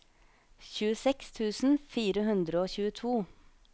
tjueseks tusen fire hundre og tjueto